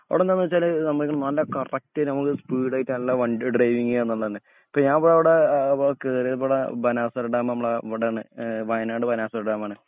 അവിടെന്താന്നുവെച്ചാല് നമ്മള് കറക്റ്റ് നമ്മള് സ്പീഡായിട്ട് നല്ല വണ്ടി ഡ്രൈവിങ്ങ് ഇപ്പൊ ഞാനവിടെ കേറിയപാടെ ബാണാസുരഡാമ് നമ്മളെ ഇവിടാണ് വയനാട് ബാണാസുര ഡാമാണ്.